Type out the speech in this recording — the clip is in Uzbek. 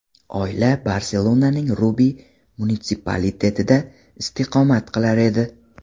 Oila Barselonaning Rubi munitsipalitetida istiqomat qilar edi.